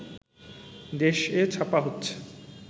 দেশ-এ ছাপা হচ্ছে